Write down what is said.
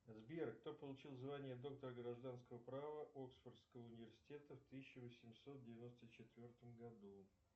сбер кто получил звание доктор гражданского права оксфордского университета в тысяча восемьсот девяносто четвертом году